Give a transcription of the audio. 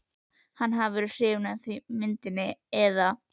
að hann hafi verið hrifinn af myndinni eða.